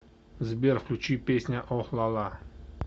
сбер включи песню охлала